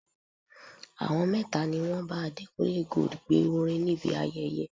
Àwọn mẹ́ta ni wọn bá Adékúnlé Gold gbé orin níbi ayẹyẹ.